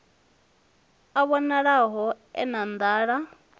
a vhonalaho e na nḓala